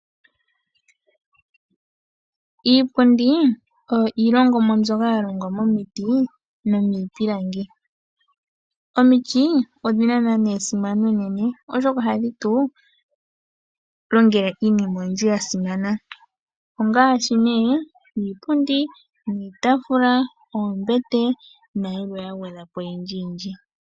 Iipundi oyo iilongomwa mbyoka ya longwa momiti nomiipilangi. Omiti odhi na esimano enene oshoka ohadhi tu longele iinima oyindji yasimana ngaashi nee iipundi, iitaafula, oombete nayilwe ya gwedhwa po oyindji yindji.